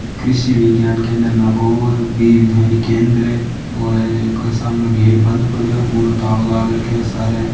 कृषि विज्ञान केंद्र नागौर विग्यान केंद्र ओ है इंके सामने गेट बंद पड़ीयो पुरो तालो लाग रखियो सारे।